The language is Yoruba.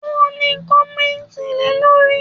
O ní, kọ̀mẹ́ntì le lórí!